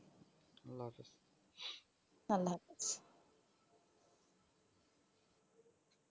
আল্লাহ হাফিয